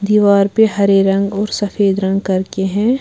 दीवार पे हरे रंग और सफेद रंग करके हैं।